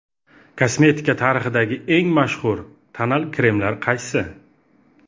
Kosmetika tarixidagi eng mashhur tonal kremlar qaysi?.